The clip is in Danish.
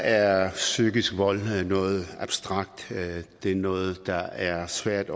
er psykisk vold noget abstrakt det er noget der er svært